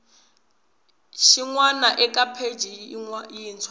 xin wana eka pheji yintshwa